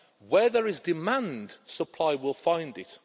Where there is demand, supply will find it.